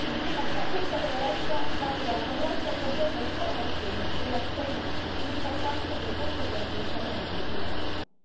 insieme ad una consapevolezza data dalla corretta e completa informazione della cittadinanza sull'importanza delle conseguenze del cambiamento climatico.